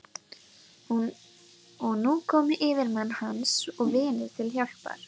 Og nú komu yfirmenn hans og vinir til hjálpar.